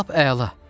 Lap əla.